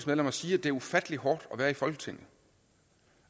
medlemmer sige at det er ufattelig hårdt at være i folketinget